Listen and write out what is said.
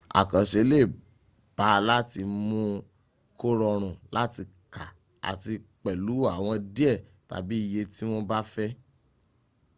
àkànse lè ba láti mún un kó rọrùn láti ka àti pẹ̀lú àwọ̀ díẹ̀ tàbí iye tí wọ́n bá fẹ́